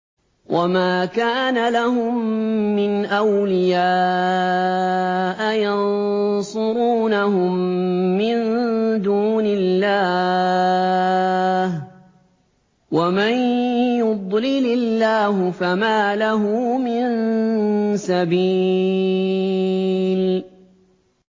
وَمَا كَانَ لَهُم مِّنْ أَوْلِيَاءَ يَنصُرُونَهُم مِّن دُونِ اللَّهِ ۗ وَمَن يُضْلِلِ اللَّهُ فَمَا لَهُ مِن سَبِيلٍ